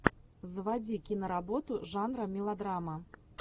заводи киноработу жанра мелодрама